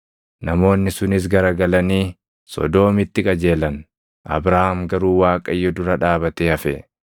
Namoonni sunis garagalanii Sodoomitti qajeelan; Abrahaam garuu Waaqayyo dura dhaabatee hafe.